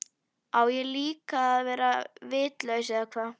Á ég þá líka að verða vitlaus eða hvað?